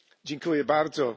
Herr Präsident!